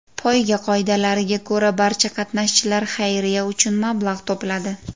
Poyga qoidalariga ko‘ra, barcha qatnashchilar xayriya uchun mablag‘ to‘pladi.